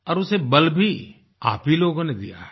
औरउसे बल भी आप ही लोगों ने दिया है